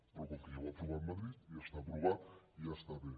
però com que ja ho ha aprovat madrid ja està aprovat i ja està bé